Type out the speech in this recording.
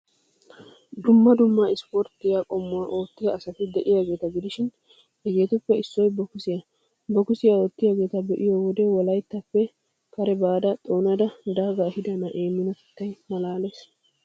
Dumma dumma ispporttiyaa qommuwaa oottiya asati de'iyaageeta gidishin, hegeetuppe issoy bokisiyaa. Bokisiyaa oottiyaageeta be'iyoo wode Wolayttaappe kare baada xoonada daagaa ehiida na'ee minotettay malaalees.